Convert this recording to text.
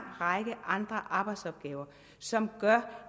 række andre arbejdsopgaver som gør